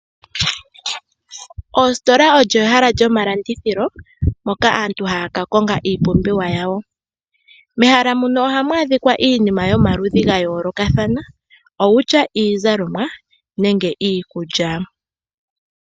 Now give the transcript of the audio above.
Oositola olyo ehala lyomalandithilo moka aantu haya ka konga iipumbiwa yawo mehala muno oha mu adhika iinima yomaludhi ga yoolokathana owutya iizalomwa nenge iikulya.